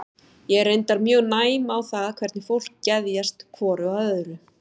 Ég er reyndar mjög næm á það hvernig fólki geðjast hvoru að öðru.